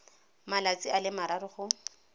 malatsi a le mararo go